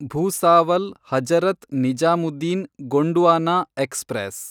Bhusawal Hazrat Nizamuddin Gondwana express